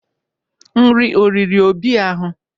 Nri o riri Obi ahụ?